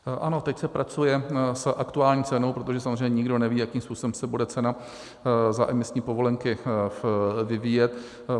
Ano, teď se pracuje s aktuální cenou, protože samozřejmě nikdo neví, jakým způsobem se bude cena za emisní povolenky vyvíjet.